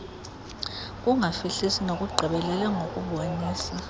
ukungafihlisi nokugqibelela ngokubonisa